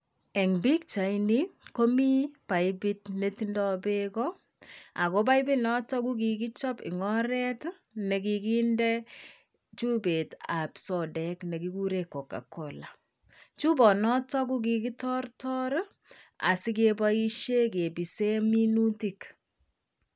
En pichaini komii paipit netindo beek ako paipi noton kokikichop en oret nekikinde chupet ab sodek nekikuren Coca-Cola, chubonoton kokikitortor i asikeboishen kibisen minutik.